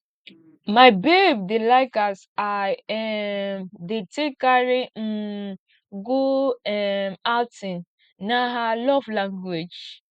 my babe dey like as i um dey take carry um go um outing na her love language